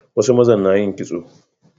Wasu mazan na yin kitso